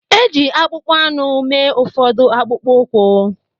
E ji akpụkpọ anụ mee ụfọdụ akpụkpọ ụkwụ.